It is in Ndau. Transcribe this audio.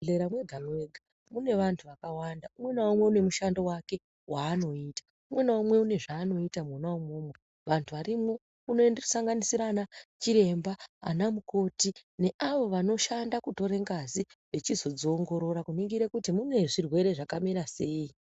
Mu zvibhedhlera mwega mwega mune vantu vakawanda umwe na umwe une mushando wake waanoita umwe na umwe uno zvaanoita mwona imwomwo vantu varimwo kuno sanganisira ana chiremba ana mukoti ne avo vanoshanda kutora ngazi vechizo dziongorora kuningire kuti mune zvirwere zvaka mira sei.